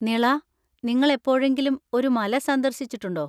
നിള, നിങ്ങൾ എപ്പോഴെങ്കിലും ഒരു മല സന്ദർശിച്ചിട്ടുണ്ടോ?